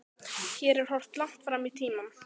Hér er horft langt fram í tímann.